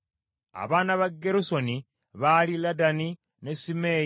Abaana ba Gerusoni baali Ladani ne Simeeyi.